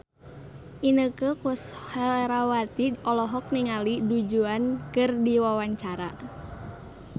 Inneke Koesherawati olohok ningali Du Juan keur diwawancara